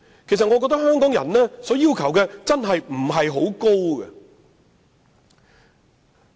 主席，我覺得香港人的要求並不是很高。